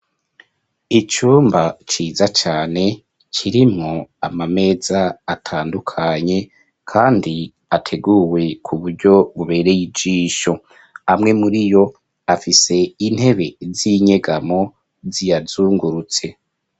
Icumba ciza cane, kirimwo amameza atandukanye kandi ateguwe ku buryo bubereye ijisho, amwe muri yo, afise intebe z'inyegamo ziyazungurutse.